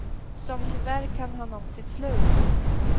Som tyvärr kan ha nått sitt slut.